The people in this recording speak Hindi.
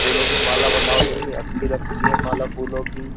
फूलों की माला बनाओ कितनी अच्छी लगती है माला फूलों की।